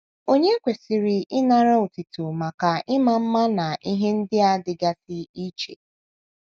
Ònye kwesịrị ịnara otuto maka ịma mma na ihe ndị a dịgasị iche?